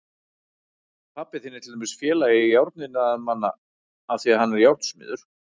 Pabbi þinn er til dæmis í Félagi járniðnaðarmanna af því að hann er járnsmiður.